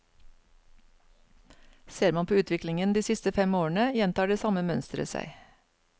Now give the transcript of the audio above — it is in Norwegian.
Ser man på utviklingen de siste fem årene, gjentar det samme mønsteret seg.